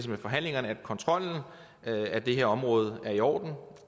med forhandlingerne at kontrollen af det her område er i orden